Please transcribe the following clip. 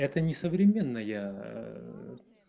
это не современная